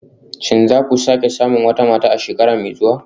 Shin za ku sake samun wata mata a shekara mai zuwa